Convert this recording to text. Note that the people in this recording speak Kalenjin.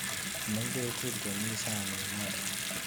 Am ngweek tukul chemite saaniit noto.